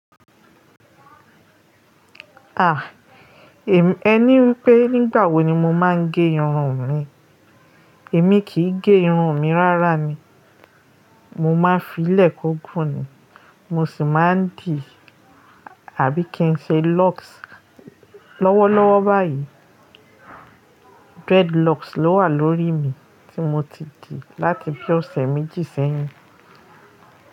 Ah, ẹ ní wipé nígbà wo ni mo máa ń gẹ irun mi. Èmi kì í gẹ irun mi rárá ni, mo máa ń fi'ílẹ̀ kògùn ni, mo sì máa ń dì àbí kí n ṣe locks. Lọ́wọ́lọ́wọ́ báyìí, dreadlocks ló wà lórí mi tí mo ti dì láti bí ọ̀sẹ̀ méjì sẹ́yìn.